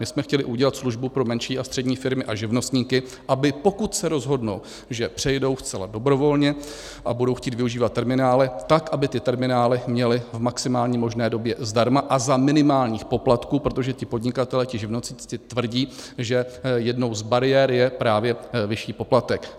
My jsme chtěli udělat službu pro menší a střední firmy a živnostníky, aby pokud se rozhodnou, že přejdou zcela dobrovolně a budou chtít využívat terminály, tak aby ty terminály měli v maximální možné době zdarma a za minimálních poplatků, protože ti podnikatelé, ti živnostníci tvrdí, že jednou z bariér je právě vyšší poplatek.